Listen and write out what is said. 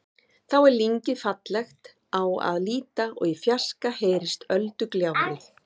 Þá er lyngið fallegt á að líta og í fjarska heyrist öldugjálfrið.